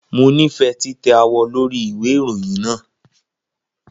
Mo nifẹ titẹ awọ lori iwe irohin naa.